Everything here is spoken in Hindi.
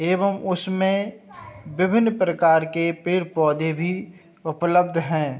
एवं उसमें विभिन्न प्रकार के पेड़ पौधे भी उपलब्ध हैं।